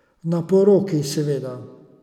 Na poroki, seveda.